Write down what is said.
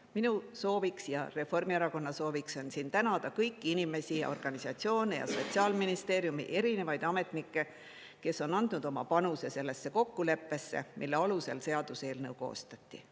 Minu sooviks ja Reformierakonna sooviks on tänada kõiki inimesi ja organisatsioone ja Sotsiaalministeeriumi erinevaid ametnikke, kes on andnud oma panuse sellesse kokkuleppesse, mille alusel seaduseelnõu koostati.